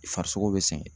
Farisogo be sɛgɛn